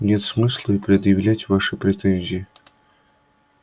нет смысла и предъявлять ваши претензии